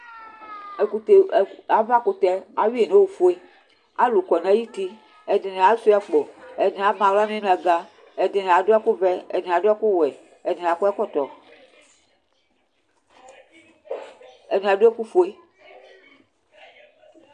Avakʋtɛ awi yi nʋ ofue alʋ kɔnʋ ayʋ uti Ɛdini asuia akpo, ɛdini ama aɣla nʋ inaga, ɛdini adʋ ɛkʋvɛ, ɛdini adʋ ɛkʋwɛ, ɛdini akɔ ɛkɔtɔ, ɛdini adʋ ɛkʋfue